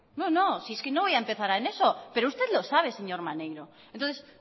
no si es que no voy a empezar en eso pero usted lo sabe señor maneiro entonces